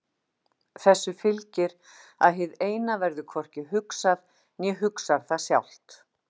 Þessu fylgir að hið Eina verður hvorki hugsað né hugsar það sjálft.